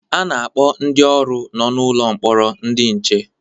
A na-akpọ ndị ọrụ nọ n'ụlọ mkpọrọ ndị nche